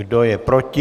Kdo je proti?